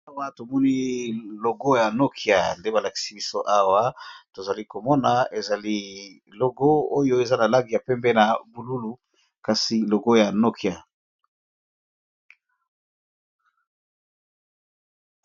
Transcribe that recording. Awa tomoni logo ya Nokya nde balakisi biso awa tozali komona ezali logo oyo eza na langi ya pembe na bululu kasi logo ya Nokya.